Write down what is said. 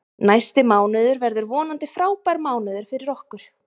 Næsti mánuður verður vonandi frábær mánuður fyrir okkur.